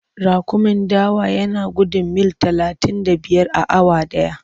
Raƙumin dawa yana gudun mil talatin da biyar a awa ɗaya.